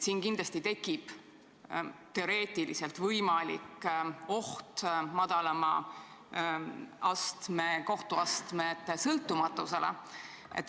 Siin tekib teoreetiliselt oht madalama astme kohtute sõltumatusele.